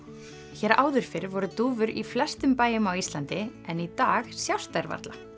hér áður fyrr voru dúfur í flestum bæjum á Íslandi en í dag sjást þær varla